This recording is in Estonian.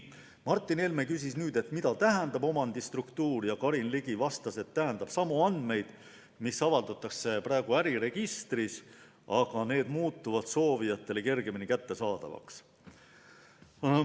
Martin Helme küsis, mida omandistruktuur üldse tähendab, ja Karin Ligi vastas, et see tähendab samu andmeid, mida praegu avaldatakse äriregistris, aga edaspidi muutuksid need soovijatele kergemini kättesaadavaks.